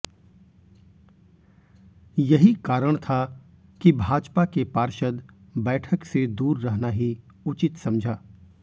यही कारण था कि भाजपा के पार्षद बैठक से दूर रहना ही उचित समझा